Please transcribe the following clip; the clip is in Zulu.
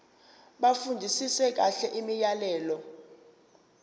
bafundisise kahle imiyalelo